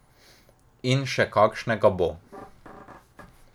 In še kakšnega bo.